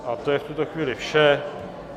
A to je v tuto chvíli vše.